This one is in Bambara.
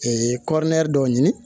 kɔri dɔw ɲini